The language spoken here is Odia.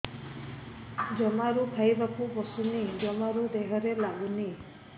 ଜମାରୁ ଖାଇବାକୁ ବସୁନି ଜମାରୁ ଦେହରେ ଲାଗୁନି